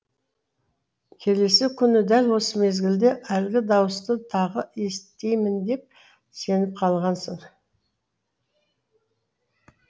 келесі күні дәл осы мезгілде әлгі дауысты тағы естимін деп сеніп қалғансың